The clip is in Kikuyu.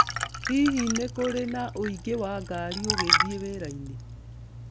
Hihi nĩ kũrĩ na ũingĩ wa ngari ũgĩthiĩ wĩra-inĩ